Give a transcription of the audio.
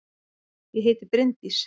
Ég heiti Bryndís!